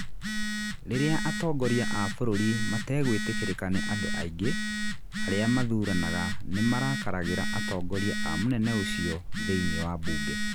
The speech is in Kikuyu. Rĩrĩa atongoria a bũrũri mategwĩtĩkĩrĩka nĩ andũ aingĩ, arĩa mathuuranaga nĩ marakaragĩra atongoria a mũnene ũcio thĩiniĩ wa mbunge.